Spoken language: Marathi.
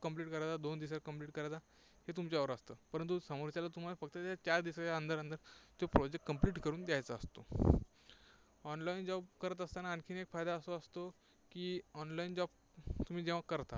complete करायचा, दोन दिवसांत complete करायचा हे तुमच्यावर असतं. परंतु समोरच्याला तुम्हाला फक्त त्या चार दिवसांच्या अंदर अंदर तो project complete करून द्यायचा असतो. online job करत असताना आणखी एक फायदा असा असतो की online job तुम्ही जेव्हा करता